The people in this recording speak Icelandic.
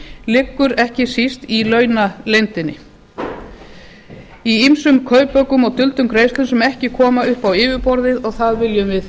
liggur ekki síst í launaleyndinni í ýmsum kaupaukum og duldum greiðslum sem ekki koma upp á yfirborðið og það viljum við